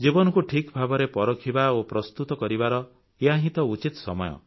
ଜୀବନକୁ ଠିକ୍ ଭାବରେ ପରଖିବା ଓ ପ୍ରସ୍ତୁତି କରିବାର ଏହି ତ ଉଚିତ ସମୟ